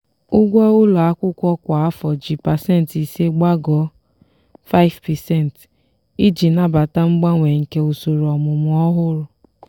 ụgwọ ụlọ akwụkwọ kwa afọ ji pasentị ise gbagoo (5%) iji nabata mgbanwe nke usoro ọmụmụ ọhụrụ.